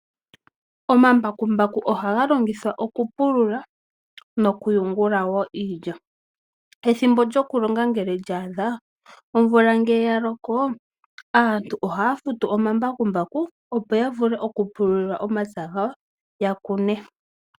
Omambakumaku ohaga longithwa okupulula nokuyungula wo iilya. Ethimbo lyokulonga ngele lya adha, omvula ngele ya loko aantu ohaya futu omambakumbaku, opo ya vule okupulula omapya gawo ya kune.